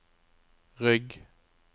rygg